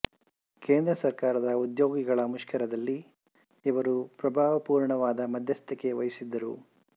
ಕೇಂದ್ರ ಸರ್ಕಾರದ ಉದ್ಯೋಗಿಗಳ ಮುಷ್ಕರದಲ್ಲಿ ಇವರು ಪ್ರಭಾವಪುರ್ಣವಾದ ಮಧ್ಯಸ್ಥಿಕೆ ವಹಿಸಿದ್ದರು